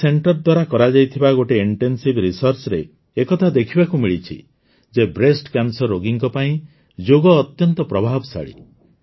ଏହି ସେଣ୍ଟର ଦ୍ୱାରା କରାଯାଇଥିବା ଗୋଟିଏ ଇଣ୍ଟେନସିଭ୍ Researchରେ ଏକଥା ଦେଖିବାକୁ ମିଳିଛି ଯେ ବ୍ରେଷ୍ଟ କ୍ୟାନ୍ସର ରୋଗୀଙ୍କ ପାଇଁ ଯୋଗ ଅତ୍ୟନ୍ତ ପ୍ରଭାବଶାଳୀ